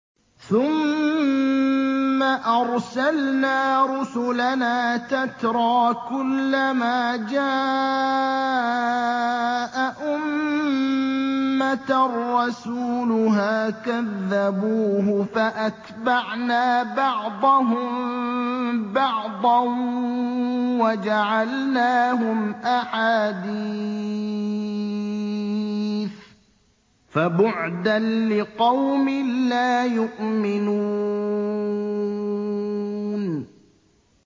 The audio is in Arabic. ثُمَّ أَرْسَلْنَا رُسُلَنَا تَتْرَىٰ ۖ كُلَّ مَا جَاءَ أُمَّةً رَّسُولُهَا كَذَّبُوهُ ۚ فَأَتْبَعْنَا بَعْضَهُم بَعْضًا وَجَعَلْنَاهُمْ أَحَادِيثَ ۚ فَبُعْدًا لِّقَوْمٍ لَّا يُؤْمِنُونَ